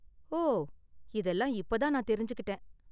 ஓ, இதெல்லாம் இப்ப தான் நான் தெரிஞ்சுக்கிட்டேன்.